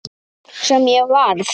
Sem ég varð.